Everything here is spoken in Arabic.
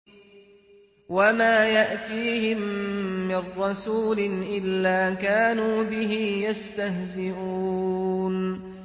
وَمَا يَأْتِيهِم مِّن رَّسُولٍ إِلَّا كَانُوا بِهِ يَسْتَهْزِئُونَ